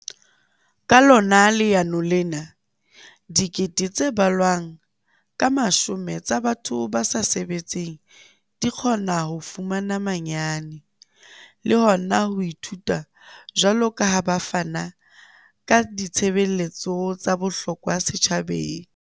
Ka lona leano lena, dikete tse balwang ka mashome tsa batho ba sa sebetseng di kgona ho fumana manyane le hona ho ithuta jwalo ka ha ba fana ka ditshebeletso tsa bohlokwa setjhabeng.